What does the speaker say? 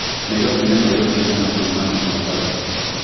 Nairobi nĩ maĩro cigana kuma Mombasa